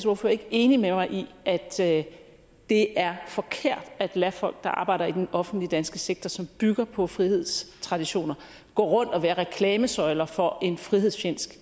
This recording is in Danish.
ordfører ikke enig med mig i at at det er forkert at lade folk der arbejder i den offentlige danske sektor som bygger på frihedstraditioner gå rundt og være reklamesøjler for en frihedsfjendsk